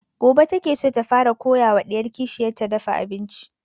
Gobe ta ke so ta fara koya wa ɗiyar kishiyar ta dafa abincin